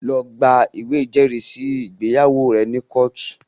Lọ gba ìwé ìjẹ́rìísí ìgbéyàwó rẹ ní kóòtù!